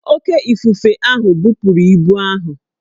Oké ifufe ahụ bupuru ibu ahụ